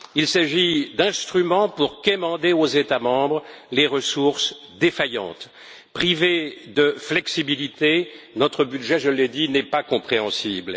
Il s'agit d'instruments pour quémander aux États membres les ressources défaillantes. Privé de flexibilité, notre budget n'est pas compréhensible.